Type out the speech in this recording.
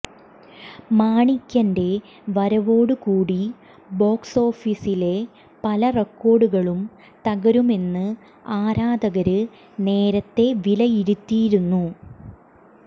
മാണിക്യന്റെ വരവോട് കൂടി ബോക്സോഫീസിലെ പല റെക്കോര്ഡുകളും തകരുമെന്ന് ആരാധകര് നേരത്തെ വിലയിരുത്തിയിരുന്നു